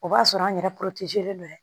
O b'a sɔrɔ an yɛrɛ don